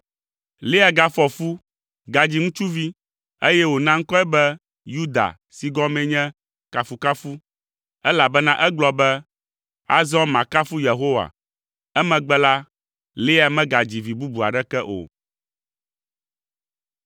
Lea gafɔ fu, gadzi ŋutsuvi, eye wòna ŋkɔe be Yuda si gɔmee nye “Kafukafu,” elabena egblɔ be, “Azɔ makafu Yehowa!” Emegbe la, Lea megadzi vi bubu aɖeke o.